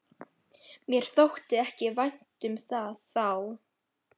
Mér þótti ekki vænt um það þá!